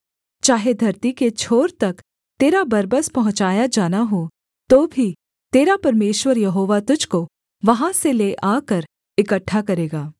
चाहे धरती के छोर तक तेरा बरबस पहुँचाया जाना हो तो भी तेरा परमेश्वर यहोवा तुझको वहाँ से ले आकर इकट्ठा करेगा